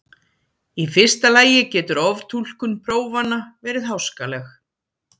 Í fyrsta lagi getur oftúlkun prófanna verið háskaleg.